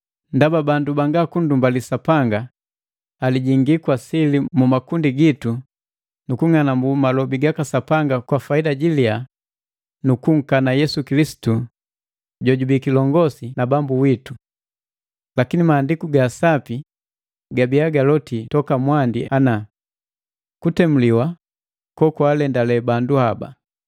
Ndaba bandu banga kunndumbali Sapanga ali jingi kwa sili mu makundi gitu nukung'anambu malobi gaka Sapanga kwa faida jilia nu kunkana Yesu Kilisitu jojubii kilongosi na Bambu witu. Lakini Maandiku ga Sapi gabiya galoti toka mwandi ana, kutemuliwa kokwaalendale bandu haba.